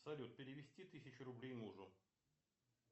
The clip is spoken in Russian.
салют перевести тысячу рублей мужу